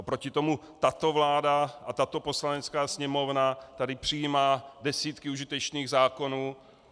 Oproti tomu tato vláda a tato Poslanecká sněmovna tady přijímá desítky užitečných zákonů.